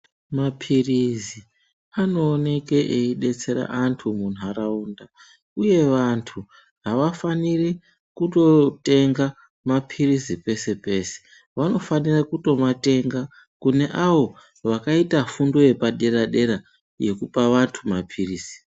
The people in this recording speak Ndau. Maphirizi anowoneka eyidetsera antu munharawunda. Uye vantu, havafaniri kutotenga maphirisi pese pese. Vanofanira kutomatenga kune awo vakaita fundo yepadera dera yekupa vantu maphirisi.